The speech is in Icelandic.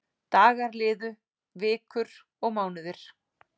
Dagar liðu, vikur og mánuðir.